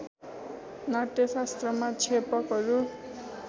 नाट्यशास्त्रमा क्षेपकहरू